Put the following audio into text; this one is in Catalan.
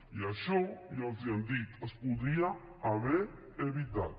i això ja els ho hem dit es podria haver evitat